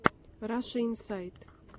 раша инсайт